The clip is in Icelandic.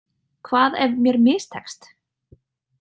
Hvað ef mér mistekst?